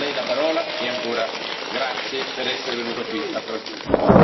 A Lei la parola, e ancora grazie per essere venuto qui a Strasburgo.